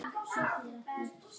Hver var Kató gamli?